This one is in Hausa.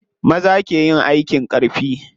Maza ke yin aikin ƙarfi.